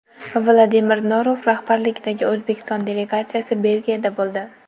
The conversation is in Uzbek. Vladimir Norov rahbarligidagi O‘zbekiston delegatsiyasi Belgiyada bo‘ldi.